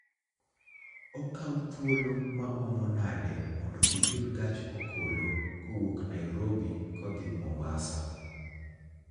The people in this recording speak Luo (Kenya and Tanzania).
Okawo thuolo maomo nade mondo iyud gach okolo kowuok Nairobi kodhi Mombasa